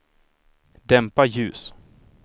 dämpa ljus